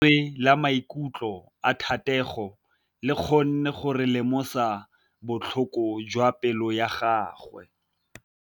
Lentswe la maikutlo a Thategô le kgonne gore re lemosa botlhoko jwa pelô ya gagwe.